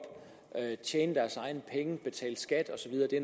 tjene deres egne penge betale skat og så videre det